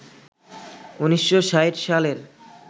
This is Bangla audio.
১৯৬০ সালের